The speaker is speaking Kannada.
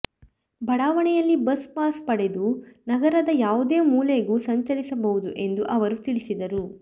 ಬಡಾವಣೆಯಲ್ಲಿ ಬಸ್ ಪಾಸ್ ಪಡೆದು ನಗರದ ಯಾವುದೇ ಮೂಲೆಗೂ ಸಂಚರಿಸಬಹುದು ಎಂದು ಅವರು ತಿಳಿಸಿದರು